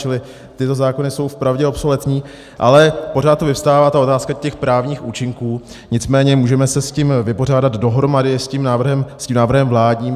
Čili tyto zákony jsou vpravdě obsoletní, ale pořád tu vyvstává ta otázka těch právních účinků, nicméně můžeme se s tím vypořádat dohromady s tím návrhem vládním.